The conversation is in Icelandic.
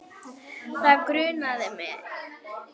Það grunaði mig.